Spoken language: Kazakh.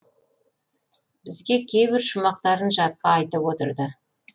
бізге кейбір шумақтарын жатқа айтып отырды